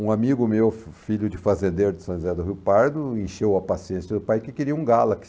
Um amigo meu, filho de fazendeiro de São José do Rio Pardo, encheu a paciência do pai que queria um Galaxy